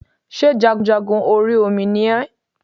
Sé jagunjagun orí Omi ni ẹ́